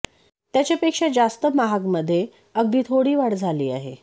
त्याच्या पेक्षा जास्त महाग मध्ये अगदी थोडा वाढ झाली आहे